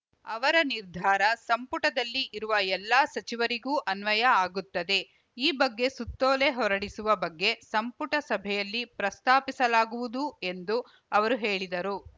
ಅವರ ನಿರ್ಧಾರ ಸಂಪುಟದಲ್ಲಿ ಇರುವ ಎಲ್ಲ ಸಚಿವರಿಗೂ ಅನ್ವಯ ಆಗುತ್ತದೆ ಈ ಬಗ್ಗೆ ಸುತ್ತೋಲೆ ಹೊರಡಿಸುವ ಬಗ್ಗೆ ಸಂಪುಟ ಸಭೆಯಲ್ಲಿ ಪ್ರಸ್ತಾಪಿಸಲಾಗುವುದು ಎಂದು ಅವರು ಹೇಳಿದರು